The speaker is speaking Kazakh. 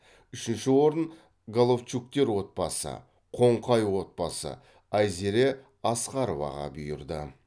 үшінші орын головчуктер отбасы қоңқай отбасы айзере асқароваға бұйырды